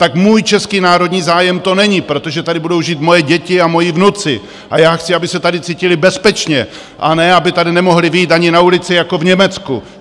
Tak můj český národní zájem to není, protože tady budou žít moje děti a moji vnuci a já chci, aby se tady cítili bezpečně, a ne aby tady nemohli vyjít ani na ulici jako v Německu!